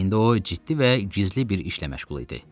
İndi o ciddi və gizli bir işlə məşğul idi.